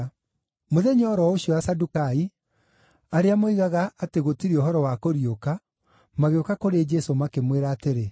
Mũthenya o ro ũcio Asadukai, arĩa moigaga atĩ gũtirĩ ũhoro wa kũriũka, magĩũka kũrĩ Jesũ makĩmwĩra atĩrĩ,